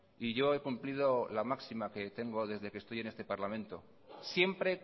y yo he cumplido la máxima que tengo desde que estoy en el parlamento siempre